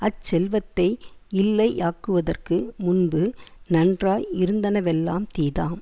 அச்செல்வத்தை யில்லை யாக்குவதற்கு முன்பு நன்றாய் இருந்தனவெல்லாம் தீதாம்